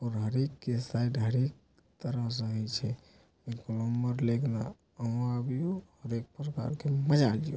एक प्रकार के मजा आ जयो।